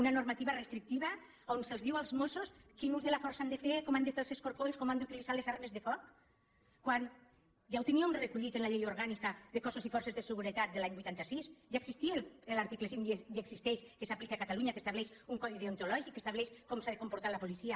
una normativa restrictiva on es diu als mossos quin ús de la força han de fer com han de fer els escorcolls com han d’utilitzar les armes de foc quan ja ho teníem recollit en la llei orgànica de cossos i forces de seguretat de l’any vuitanta sis ja existia l’article cinc i existeix que s’aplica a catalunya que estableix un codi deonto·lògic que estableix com s’ha de comportar la policia